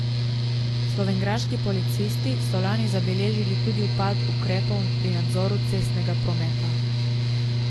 Slovenjgraški policisti so lani zabeležili tudi upad ukrepov pri nadzoru cestnega prometa.